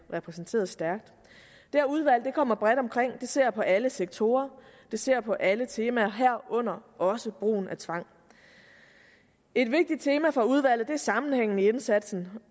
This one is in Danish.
repræsenteret stærkt det her udvalg kommer bredt omkring det ser på alle sektorer det ser på alle temaer herunder også brugen af tvang et vigtigt tema for udvalget er sammenhængen i indsatsen